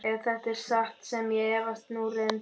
Ef þetta er satt sem ég efast nú reyndar um.